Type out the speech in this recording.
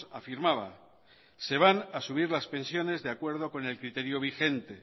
afirmaba se van a subir las pensiones de acuerdo con el criterio vigente